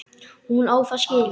Hún á það skilið.